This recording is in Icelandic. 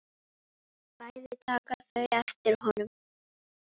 Bæði taka þau eftir honum.